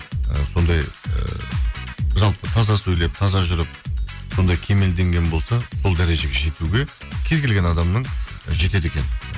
ы сондай ы жалпы таза сөйлеп таза жүріп сондай кемелденген болса сол дәрежеге жетуге кез келген адамның ы жетеді екен